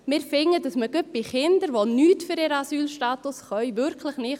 Wir finden, dass gerade Kinder, die nichts für ihren Asylstatus können – wirklich nicht;